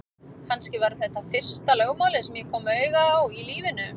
Kannski var þetta fyrsta lögmálið sem ég kom auga á í lífinu.